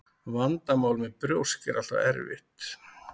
Vandamál með brjósk er alltaf erfitt.